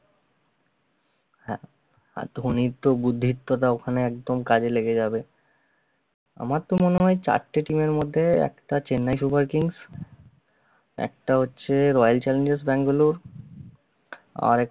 হ্যা, আর ধোনীর তো বুদ্ধিওতা ওখানে একদম কাজে লেগে যাবে আমার তো মনে হয় চারটে team এর মধ্যে একটা chennai super kings একটা হচ্ছে royal challengers bangalore আরেক~